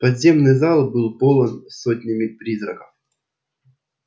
подземный зал был полон сотнями призраков